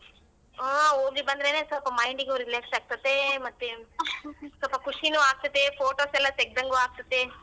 ಹ ಹೋಗಿ ಬಂದ್ರೆನೆ ಸ್ವಲ್ಪ mind ಗು relax ಆಗ್ತತ್ತೆ ಮತ್ತೆ ಸೊಲ್ಪ ಖುಷಿನು ಆಗ್ತತ್ತೆ photos ಎಲ್ಲಾ ತೆಗ್ದಂಗು ಆಗ್ತತ್ತೆ .